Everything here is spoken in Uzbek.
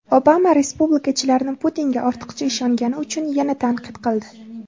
Obama respublikachilarni Putinga ortiqcha ishongani uchun yana tanqid qildi.